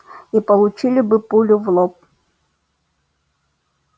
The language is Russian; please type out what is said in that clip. и получили бы пулю в лоб